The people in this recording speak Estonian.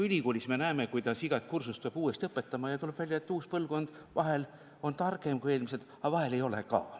Ülikoolis me näeme, kuidas iga kursust peab uuesti õpetama ja tuleb välja, et uus põlvkond vahel on targem kui eelmised, aga vahel ei ole ka.